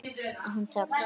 En hún tekst.